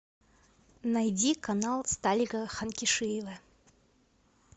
найди канал сталика ханкишиева